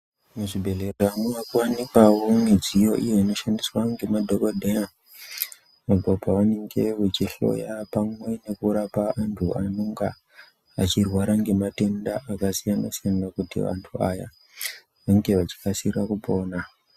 Muzvibhedhlera munowanikwawo midziyo iyi inoonekwawo nemadhokodheya apo pavanenge veihloya vantu imweni kuraoa vantu ava vanenge vachirwara nematenda akasiyana siyana kuti vantu vange veiziva.